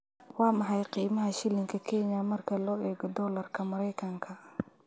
Waa maxay qiimaha shilinka Kenya marka loo eego dollarka Maraykanka?